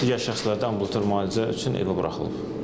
Digər şəxslərdə ambulator müalicə üçün evə buraxılıb.